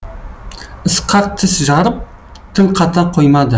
ысқақ тіс жарып тіл қата қоймады